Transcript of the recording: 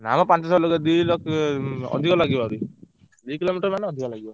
ନା ମ ପାଞ୍ଚ ଛ ଲକ୍ଷ ଅଧିକ ଲାଗିବ ଆହୁରି ଦି kilometre ମାନେ ଅଧିକ ଲାଗିବ।